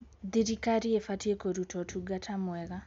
Thirikari ĩbatiĩ kũruta ũtungata mwega.